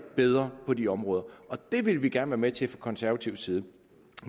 bedre på de områder det vil vi gerne være med til fra konservativ side